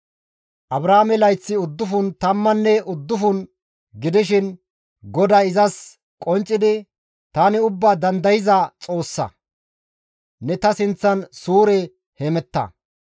Abraame layththi uddufun tammanne uddufun gidishin GODAY izas qonccidi, «Tani Ubbaa Dandayza Xoossa; ne ta sinththan suure hemetta.